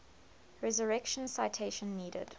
resurrection citation needed